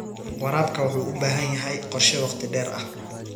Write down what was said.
Waraabka waxa uu u baahan yahay qorshe wakhti dheer ah.